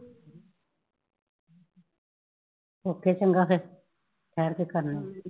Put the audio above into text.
ok ਚੰਗਾ ਫੇਰ ਠੇਰ ਕੇ ਕਰਨੇ ਆ